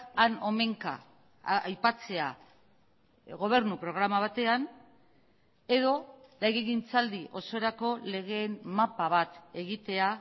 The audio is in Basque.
han omenka aipatzea gobernu programa batean edo legegintzaldi osorako legeen mapa bat egitea